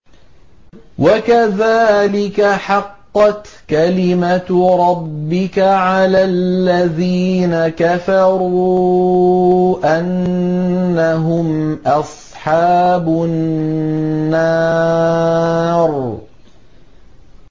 وَكَذَٰلِكَ حَقَّتْ كَلِمَتُ رَبِّكَ عَلَى الَّذِينَ كَفَرُوا أَنَّهُمْ أَصْحَابُ النَّارِ